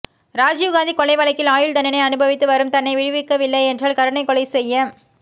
ராஜீவ்காந்தி கொலை வழக்கில் ஆயுள் தண்டனை அனுபவித்து வரும் தன்னை விடுவிக்கவில்லை என்றால் கருணைக் கொலை செய்ய